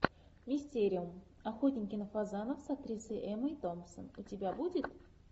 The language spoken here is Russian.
мистериум охотники на фазанов с актрисой эммой томпсон у тебя будет